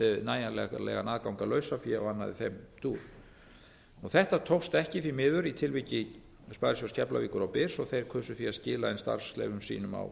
nægjanlegan aðgang að lausafé og annað í þeim dúr þetta tókst ekki því miður í tilviki sparisjóðs keflavíkur og byrs og þeir kusu því að skila inn starfsleyfum sínum á